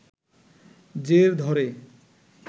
জের ধরে